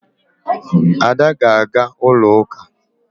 Ada ga-aga ulo uka.